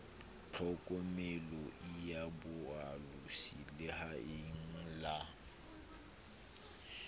tlhokomeloi ya boalosi lehaeng la